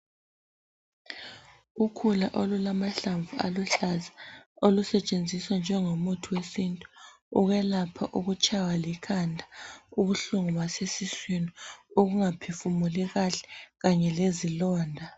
Ukhula olulamahlamvu aluhlaza olusetshenziswa njengo muthi wesintu ukwelapha ukutshaywa likhanda ubuhlungu basesiswini ukungaphefumuli kahle kanye lezilonda.